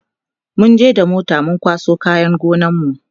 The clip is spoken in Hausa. munje da mota mun kwaso kayan gonar mu